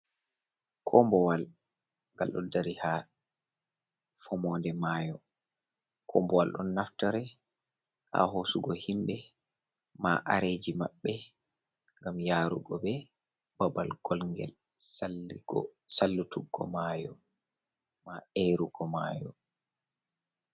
Kombowal, ngal ɗo dari haa fomonde maayo. Kombowal ɗon naftore haa hoosugo himɓe, maa areji maɓɓe, ngam yaarugo ɓe babal kolnget salluko, salluttuggo maayo, maa erugo maayo.